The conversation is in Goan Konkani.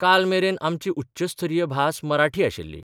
कालमेरेन आमची उच्चस्तरीय भास मराठी आशिल्ली.